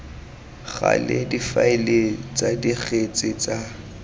gale difaele tsa dikgetse tsa